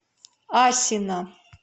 асино